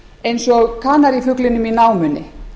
eins og kanarífuglinum í námunni